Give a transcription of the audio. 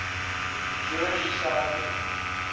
jewish scientists